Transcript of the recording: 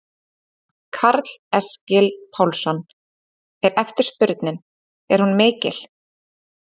Karl Eskil Pálsson: Er eftirspurnin, er hún mikil?